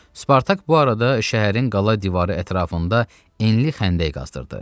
Spartak bu arada şəhərin qala divarı ətrafında enli xəndək qazdırdı.